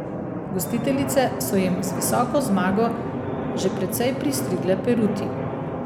Gostiteljice so jim z visoko zmago že precej pristrigle peruti.